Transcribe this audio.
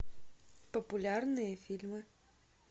популярные фильмы